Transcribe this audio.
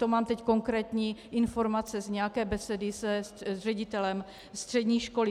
To mám teď konkrétní informace z nějaké besedy s ředitelem střední školy.